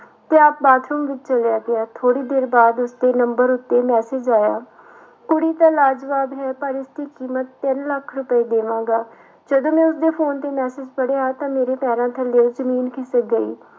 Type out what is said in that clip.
ਤੇ ਆਪ ਬਾਥਰੂਮ ਵਿੱਚ ਚਲਿਆ ਗਿਆ ਥੋੜ੍ਹੀ ਦੇਰ ਬਾਅਦ ਉਸੇ ਨੰਬਰ ਉੱਤੇ message ਆਇਆ ਕੁੜੀ ਤਾਂ ਹੈ ਪਰ ਇਸਦੀ ਕੀਮਤ ਤਿੰਨ ਲੱਖ ਰੁਪਏ ਦੇਵਾਂਗਾ ਜਦੋਂ ਮੈਂ ਉਸਦੇ ਫ਼ੋਨ ਤੇ message ਪੜ੍ਹਿਆ ਤਾਂ ਮੇਰੇ ਪੈਰਾਂ ਥੱਲਿਓ ਜ਼ਮੀਨ ਖਿਸਕ ਗਈ।